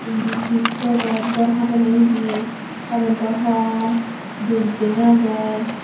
indi chij packet ghar hojonne ye currentto hom building aage.